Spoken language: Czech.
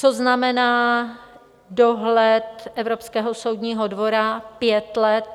Co znamená dohled Evropského soudního dvora pět let?